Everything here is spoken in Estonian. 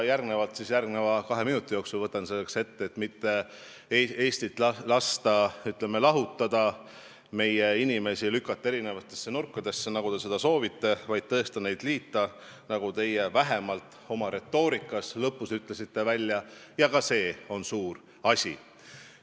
Ja võtan ka järgneva kahe minuti jooksul ette, selleks et mitte Eestit lahutada, meie inimesi lükata eri nurkadesse, nagu te soovite, vaid neid tõesti liita, nagu teie vähemalt lõpus oma retoorikas välja ütlesite – ka see on suur asi.